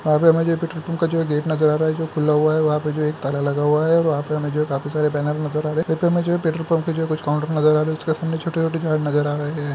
वहाँ पे हमें जो है पेट्रोल पंप का जो है गेट नजर आ रहा है जो खुला हुआ है वहाँ पे जो है ताला लगा हुआ है वहाँ पे हमें जो है काफी सारे बैनर नजर आ रहे हैं वहाँ पे हमें जो है पेट्रोल पंप जो है कुछ काउंटर नजर आ रहे है जिसके सामने छोटे-छोटे झाड़ नजर आ रहे हैं।